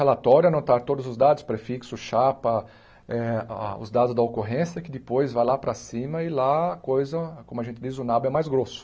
Relatório, anotar todos os dados, prefixo, chapa, eh a os dados da ocorrência que depois vai lá para cima e lá a coisa, como a gente diz, o nabo é mais grosso.